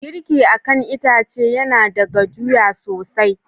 Girki akan itace yana da gajuya sosai.